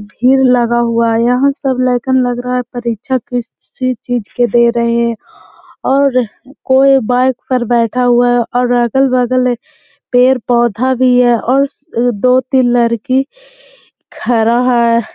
भीड़ लगा हुआ हैं। यहाँ सब ल्येक्न लग रहा है परीक्षा किसी चीज़ की दे रहे हैं और कोई बाइक पर बैठा हुआ है और अगल-बगल एक पेड़ पोधा भी है और दो तीन लड़की खड़ा हैं।